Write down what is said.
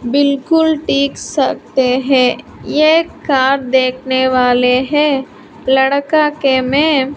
बिलकुल टिक सकते हैं ये कार देखने वाले हैं लड़का के में--